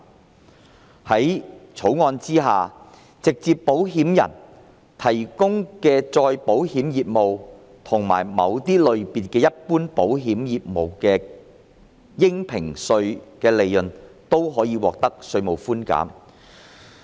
在《條例草案》下，直接保險人提供的再保險業務及某些類別的一般保險業務的應評稅利潤，均可以獲得稅務寬減。